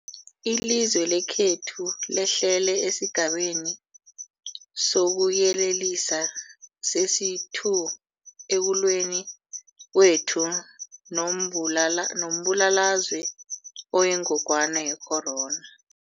Ilizwe lekhethu lehlele esiGabeni sokuYelelisa sesi-2 ekulweni kwethu nombulalazwe oyingogwana ye-corona.